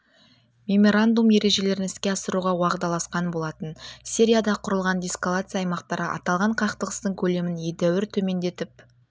меморандум ережелерін іске асыруға уағдаласқан болатын сирияда құрылған деэскалация аймақтары аталған қақтығыстың көлемін едәуір төмендетіп